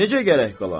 Necə gərək qala?